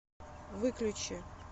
выключи